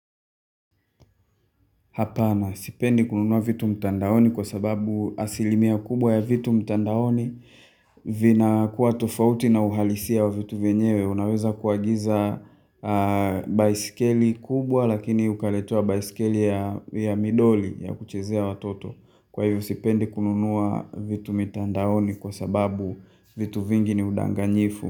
Sipendi kununua vitu mtandaoni kwa sababu asilimia kubwa ya vitu mtandaoni vinakuwa tofauti na uhalisia wa vitu vyenyewe Unaweza kuagiza baisikeli kubwa lakini ukaletewa baisikeli ya midoli ya kuchezea watoto Kwa hivyo sipendi kununua vitu mtandaoni kwa sababu vitu vingi ni udanganyifu.